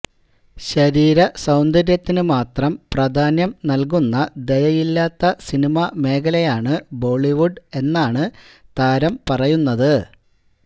ശരീര സൌന്ദര്യത്തിന് മാത്രം പ്രധാന്യം നല്്കുന്ന ദയയില്ലാത്ത സിനിമ മേഖലയാണ് ബോളിവുഡ് എന്നാണ് താരം പറയുന്നത്